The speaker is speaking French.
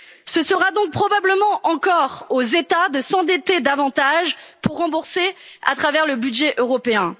Ce sera donc probablement encore aux États de s'endetter davantage pour rembourser à travers le budget